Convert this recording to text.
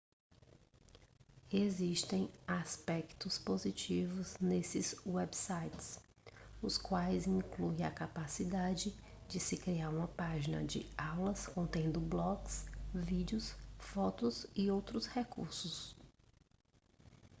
existem aspectos positivos nestes websites os quais incluem a capacidade de se criar uma página de aulas contendo blogs vídeos fotos e outros recursos